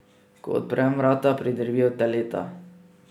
Ko odprem vrata, pridrvijo teleta.